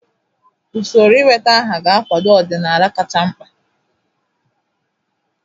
Usoro ịweta aha ga-akwado ọdịnala kacha mkpa.